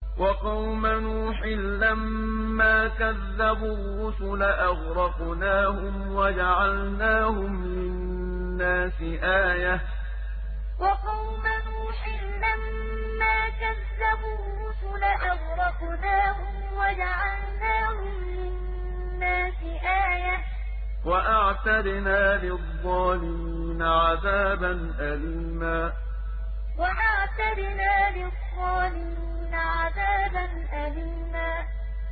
وَقَوْمَ نُوحٍ لَّمَّا كَذَّبُوا الرُّسُلَ أَغْرَقْنَاهُمْ وَجَعَلْنَاهُمْ لِلنَّاسِ آيَةً ۖ وَأَعْتَدْنَا لِلظَّالِمِينَ عَذَابًا أَلِيمًا وَقَوْمَ نُوحٍ لَّمَّا كَذَّبُوا الرُّسُلَ أَغْرَقْنَاهُمْ وَجَعَلْنَاهُمْ لِلنَّاسِ آيَةً ۖ وَأَعْتَدْنَا لِلظَّالِمِينَ عَذَابًا أَلِيمًا